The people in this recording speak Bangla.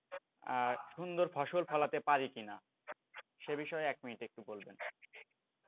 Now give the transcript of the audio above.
সুন্দর ফসল ফলাতে পারি কিনা সে বিষয়ে এক minute একটু বলবেন।